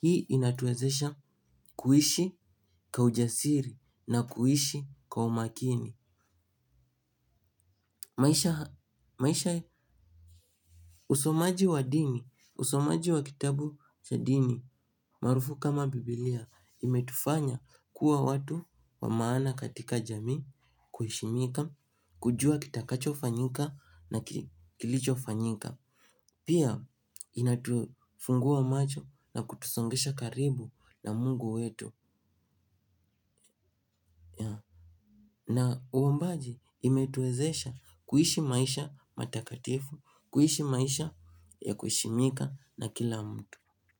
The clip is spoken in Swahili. Hii inatuwezesha kuishi kwa ujasiri na kuishi ka umakini. Maisha usomaji wa dini, usomaji wa kitabu cha dini, marufu kama Biblia, imetufanya kuwa watu wa maana katika jamii, kuheshimika, kujua kitakacho fanyika na kilicho fanyika. Pia inatufungua macho na kutusongesha karibu na mungu wetu. Na uombaji imetuezesha kuishi maisha matakatifu. Kuishi maisha ya kuheshimika na kila mtu.